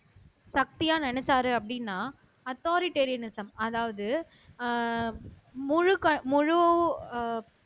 சக்தியா நினைச்சாரு அப்படின்னா அத்தாரிடேரியநிஸம் அதாவது அஹ் முழுக்க முழு